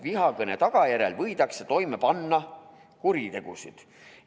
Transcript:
Vihakõne tagajärjel võidakse toime panna kuritegusid.